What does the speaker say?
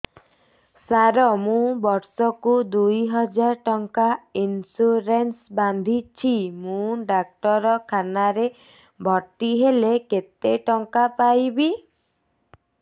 ସାର ମୁ ବର୍ଷ କୁ ଦୁଇ ହଜାର ଟଙ୍କା ଇନ୍ସୁରେନ୍ସ ବାନ୍ଧୁଛି ମୁ ଡାକ୍ତରଖାନା ରେ ଭର୍ତ୍ତିହେଲେ କେତେଟଙ୍କା ପାଇବି